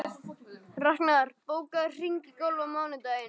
Raknar, bókaðu hring í golf á mánudaginn.